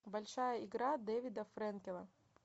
большая игра дэвида френкила